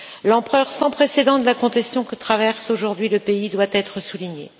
L'ampleur sans précédent de la contestation que traverse aujourd'hui le pays doit être soulignée.